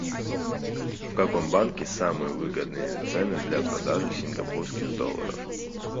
в каком банке самые выгодные цены для продажи сингапурских долларов